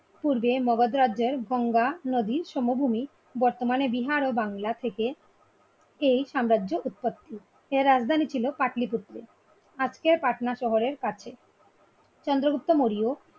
পুরবে মগধ রাজ্যে গঙ্গা নদীর সমভূমি বর্তমানে বিহারো বাংলা থেকে এই সাম্রাজ্য উৎপত্তি। এর রাজধানী ছিল পাটলী পুত্র। আজকের পাটনা শহরের কাছে চন্দ্রগুপ্ত মৌর্য